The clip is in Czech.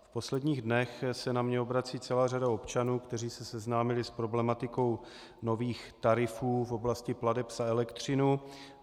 V posledních dnech se na mě obrací celá řada občanů, kteří se seznámili s problematikou nových tarifů v oblasti plateb za elektřinu.